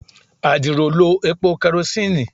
adiro lo epo kerosene